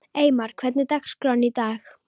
Eymar, hvernig er dagskráin í dag?